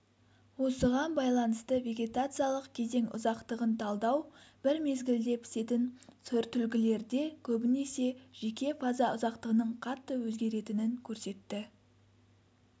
осыған байланысты вегетациялық кезең ұзақтығын талдау бір мезгілде пісетін сортүлгілерде көбінесе жеке фаза ұзақтығының қатты өзгеретінін көрсетті